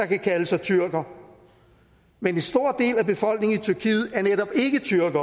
kan kalde sig tyrker men en stor del af befolkningen i tyrkiet er netop ikke tyrkere